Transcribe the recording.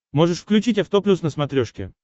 можешь включить авто плюс на смотрешке